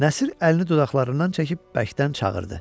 Nəsir əlini dodaqlarından çəkib bərkdən çağırdı.